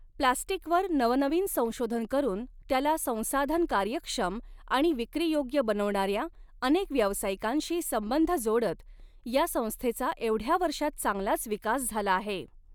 प्लॅस्टीकवर नवनवीन संशोधन करुन त्याला संसाधन कार्यक्षम आणि विक्रीयोग्य बनवणाऱ्या अनेक व्यावसाय़िकांशी संबध जोडत या संस्थेचा एवढ्या वर्षात चांगलाच विकास झाला आहे.